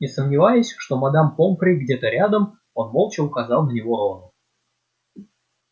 не сомневаясь что мадам помфри где-то рядом он молча указал на него рону